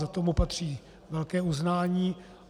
Za to mu patří velké uznání.